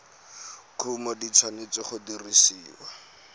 kumo di tshwanetse go dirisiwa